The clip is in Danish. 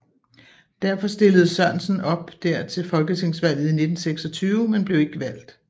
Derfor stillede Sørensen op der til folketingsvalget i 1926 men blev ikke valgt